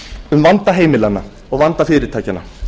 um vanda heimilanna og vanda fyrirtækjanna